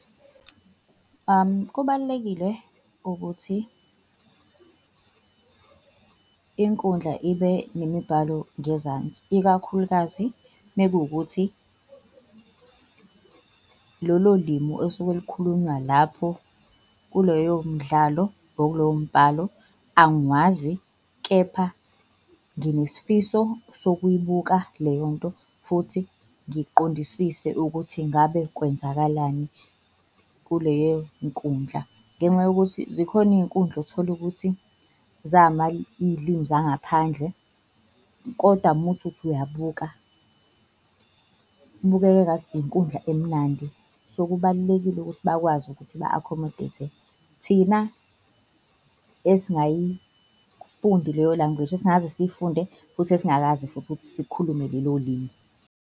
Kubalulekile ukuthi inkundla ibe nemibhalo ngezansi, ikakhulukazi mekuwukuthi lolo limi olusuke lukhulunywa lapho kuloyo mdlalo or kulowo mbhalo angiwazi kepha nginesifiso sokuyibuka leyo nto, futhi ngiqondisise ukuthi ngabe kwenzakalani kuleyo nkundla. Ngenxa yokuthi zikhona iy'nkundla othola ukuthi iy'limi zangaphandle koda uma uthi uthi uyabuka kubukeka engathi inkundla emnandi. So kubalulekile ukuthi bakwazi ukuthi ba-accommodate-e thina esingayifundi leyo language, esingakaze siyifunde futhi esingakaze futhi ukuthi sikhulume lelo limi.